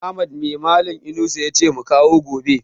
Ahmad mai malan Inusa yace mu kawo gobe?